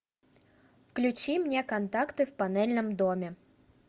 включи мне контакты в панельном доме